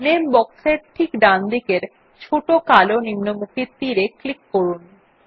নামে বক্স এর ঠিক ডানদিকের ছোট কালো নিম্নমুখী তীর এ ক্লিক করুন